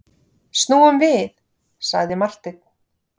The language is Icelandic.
Snúum við, sagði Marteinn.